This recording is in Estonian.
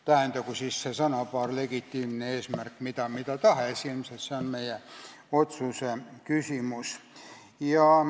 Tähendagu see sõnapaar "legitiimne eesmärk" mida tahes – ilmselt on see meie otsustuse küsimus.